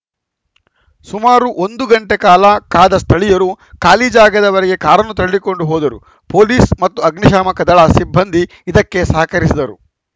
ಸುಮಾರು ಒಂದು ಗಂಟೆ ಕಾಲ ಕಾದ ಸ್ಥಳೀಯರು ಖಾಲಿ ಜಾಗದವರೆಗೆ ಕಾರನ್ನು ತಳ್ಳಿಕೊಂಡು ಹೋದರು ಪೊಲೀಸ್‌ ಮತ್ತು ಅಗ್ನಿಶಾಮಕ ದಳ ಸಿಬ್ಬಂದಿ ಇದಕ್ಕೆ ಸಹಕರಿಸಿದರು